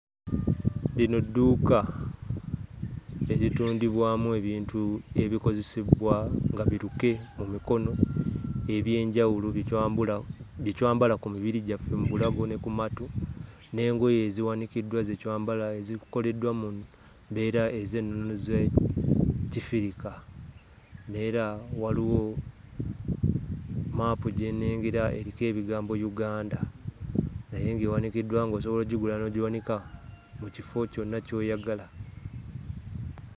Lino dduuka eritundibwamu ebintu ebikozesebwa nga biruke mu mikono eby'enjawulo bye twambula bye twambala ku mibiri gyaffe mu bulago ne ku matu, n'engoye eziwanikiddwa ze twambala ezikoleddwa mu mbeera ez'ennono z'Ekifirika. Neera waliwo maapu gye nnengera eriko ebigambo Uganda naye ng'ewandiikiddwa ng'osobola oggigula n'ogiwanika mu kifo kyonna ky'oyagala.